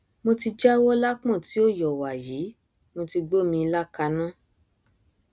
mo ti jáwọ lápọn tí ò yọ wàyí mo ti gbómi ilá kaná